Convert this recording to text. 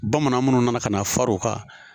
Bamananw minnu nana ka na far'o kan